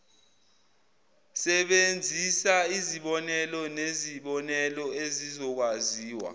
sebenzisaizibonelo nezibonelo ezizokwaziwa